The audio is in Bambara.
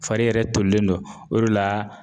Fari yɛrɛ tolilen don , o de la